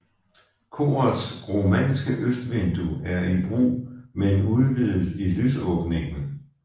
Korets romanske østvindue er i brug men udvidet i lysåbningen